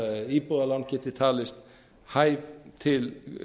íbúðalán geti talist hæf til